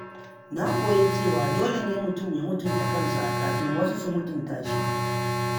Na koya cewa dole ne mutum ya mutunta kansa kafin wasu su mutunta shi.